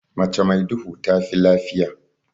Mace mai duhu tafi lafiya.